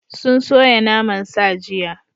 Sun soya naman sa jiya.